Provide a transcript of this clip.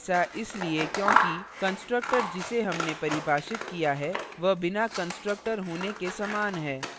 ऐसा इसलिए क्योंकि constructor जिसे हमने परिभाषित किया है वह बिना constructor होने के समान है